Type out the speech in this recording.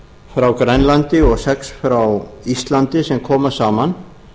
frá grænlandi og sex frá íslandi sem koma saman